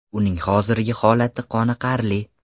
Uning hozirgi holati qoniqarli.